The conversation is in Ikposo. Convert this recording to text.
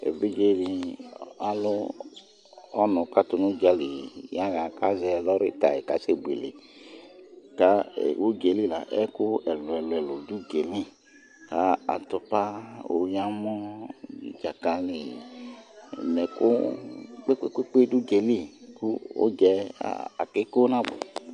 Évidjé di alu ɔnu katu nu udjali ya ha ka zɛ lori taĩ ka sɛ buélé Ka udjéli la, ɛku ɛlu ɛlu du uguéni , atupa oyi amõ nu djakali nɛ ɛku kpékpé du udjéli ku udjaɛ oké kónabuɛ